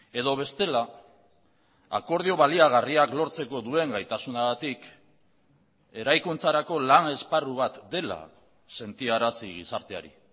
edo bestela akordio baliagarriak lortzeko duen gaitasunagatik eraikuntzarako lan esparru bat dela sentiarazi gizarteari